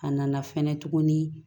A nana fɛnɛ tuguni